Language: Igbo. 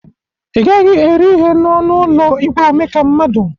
Ị gaghi eri ihe n'ọnụ ụlọ igwe omeka mmadụ